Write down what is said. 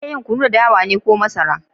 Ana iya yin Kunu da dawa ne ko masara.